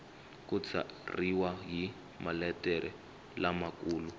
ku tsariwa hi maletere lamakulu